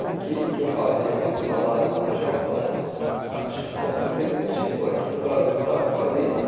O que que eu fazia com esse salário lá no Japão, acho que só um executivo aqui no Brasil para fazer isso.